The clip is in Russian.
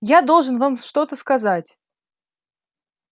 я должен вам что-то сказать